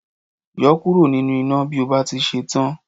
Yọ ọ́ kúrò nínú iná bí o bá ti ṣe tán